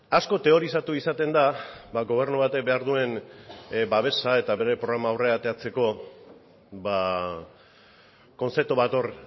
asko teorizatu izaten da gobernu batek behar duen babesa eta bere programa aurrera ateratzeko kontzeptu bat hor